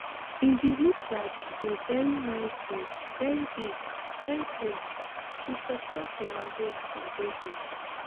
e bin look like a really nice boat very big very clean she tok tok from her home for belgium